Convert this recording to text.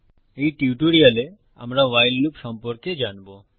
এই টিউটোরিয়ালে আমরা ভাইল লুপ সম্পর্কে জানবো